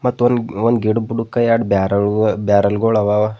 ಮತ್ ಒಂದ್ ಒಂದು ಗೇಟ್ ಬುಡುಕ ಯಡ್ ಬ್ಯಾರಲ್ ಬ್ಯಾರಾಲ್ಗಳು ಹಾವ.